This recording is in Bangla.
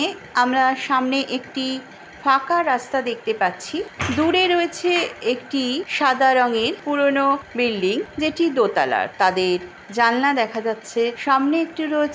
আমরা সামনে একটি ফাঁকা রাস্তা দেখতে পাচ্ছি দূরে রয়েছে একটি সাদা রং এর পুরনো বিল্ডিং যেটি দোতলার তাদের জানলা দেখা যাচ্ছে সামনে একটি রয়েছে।